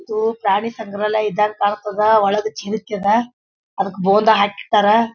ಇದು ಪ್ರಾಣಿ ಸಂಗ್ರಾಲಯ ಇದಂಗೆ ಕಾಣ್ ತ್ತದ್ದ ಒಳಗ್ ಚಿಣಿಕ್ಯ ಅದ್ ಅದಕ್ಕ ಬೊಂದ ಹಾಕಿಟ್ಟರ್.